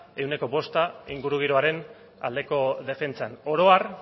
ehuneko bost ingurugiroaren aldeko defentsan oro har